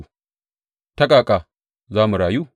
Ta ƙaƙa za mu rayu?